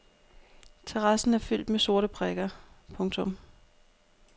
Terrassen er fyldt med sorte prikker. punktum